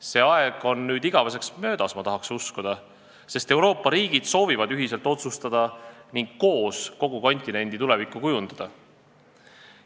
See aeg on nüüd igaveseks möödas, ma tahan uskuda, sest Euroopa riigid soovivad ühiselt otsustada ning koos kogu kontinendi tulevikku kujundada.